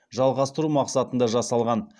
жалғастыру мақсатында жасалған